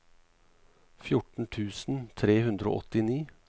fjorten tusen tre hundre og åttini